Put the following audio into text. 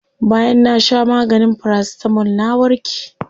Bayan na sha maganin paracetamol na warke.